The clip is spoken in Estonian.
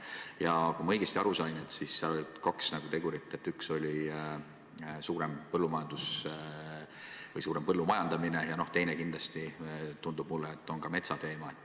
Ja kui ma õigesti aru sain, on mängus kaks tegurit: üks on suurem põllumajandamine ja teine on metsandus.